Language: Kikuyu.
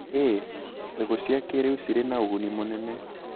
ĩĩ, mbegũ cia kĩrĩu cirĩ na ũguni mũnene.